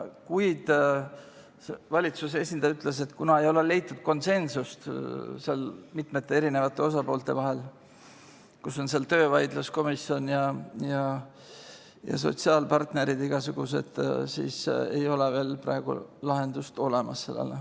Kuid valitsuse esindaja ütles, et kuna ei ole leitud konsensust mitmete erinevate osapoolte vahel – seal on töövaidluskomisjon ja igasugused sotsiaalpartnerid –, siis ei ole sellele praegu veel lahendust olemas.